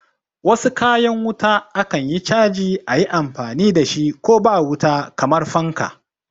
Wasu kayan wuta akan iya chaji ayi amfani dashi ko ba wuta kamar fanka